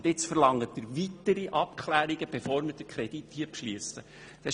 Jetzt verlangen Sie weitere Abklärungen, bevor der Kredit hier beschlossen wird.